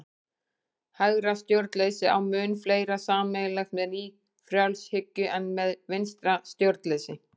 Hægra stjórnleysi á mun fleira sameiginlegt með nýfrjálshyggju en með vinstra stjórnleysi.